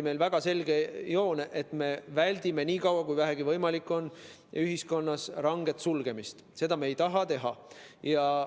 oli väga selge joon, et me väldime nii kaua kui vähegi võimalik ühiskonna ranget sulgemist, seda me ei taha teha.